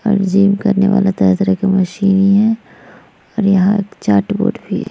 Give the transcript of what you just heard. और जिम करने वाला तरह-तरह का मशीन भी है। और यहाँ चाट बोर्ड भी --